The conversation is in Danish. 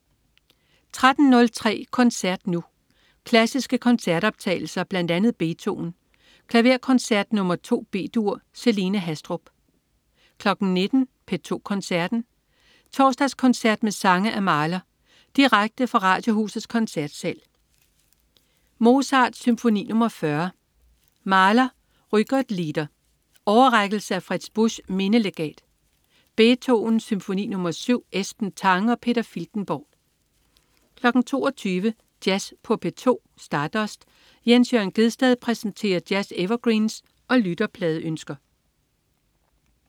13.03 Koncert Nu. Klassiske koncertoptagelser. Bl.a. Beethoven: Klaverkoncert nr. 2 B-dur. Celine Haastrup 19.00 P2 Koncerten. Torsdagskoncert med sange af Mahler. Direkte fra Radiohusets Koncertsal. Mozart: Symfoni nr. 40. Mahler: Rückert-lieder. Overrækkelse af Fritz Buschs Mindelegat. Beethoven: Symfoni nr. 7. Esben Tange og Peter Filtenborg 22.00 Jazz på P2. Stardust. Jens Jørn Gjedsted præsenterer jazz-evergreens og lytterpladeønsker